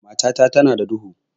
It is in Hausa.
Matata tana da duhu.